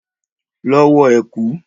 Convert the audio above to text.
Lọ wọ ẹ̀kú!